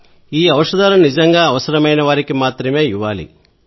ఈ ఔ షధాలను నిజంగా అవసరమైన వారికి మాత్రమే ఇవ్వాలి